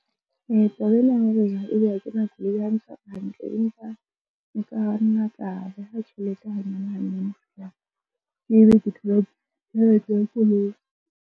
Taba ena ya hore ebe ha ke na koloi ha e ntshware hantle empa nka nna ka beha tjhelete hanyane hanyane ho fihla ke ebe ke thola tjhelete ya koloi.